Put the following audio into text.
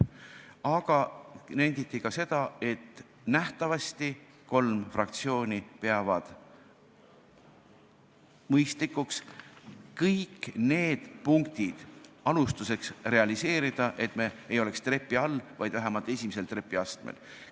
Aga nenditi ka seda, et kolm fraktsiooni peavad alustuseks mõistlikuks kõik need punktid realiseerida, et me ei oleks trepi all, vaid vähemalt esimesel trepiastmel.